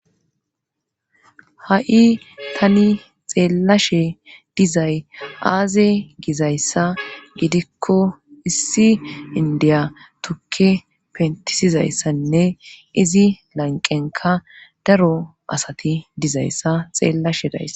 Ha.i tani xeellashe dizay aaze gizayssa gidikko issi indiya tukke pentisizayssanne izi lanqenka daro asati dizayssa xeellashe dayssa.